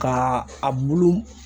Ka a bulu